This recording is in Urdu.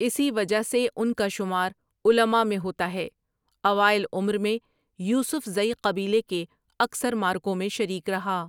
اسی وجہ سے ان کا شمار علما میں ہوتا ہے اوائل عمر میں یوسف زئی قبیلے کے اکثر معرکوں میں شریک رہا ۔